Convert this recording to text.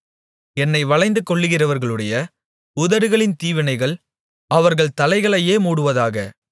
என்னை வளைந்துகொள்ளுகிறவர்களுடைய உதடுகளின் தீவினைகள் அவர்கள் தலைகளையே மூடுவதாக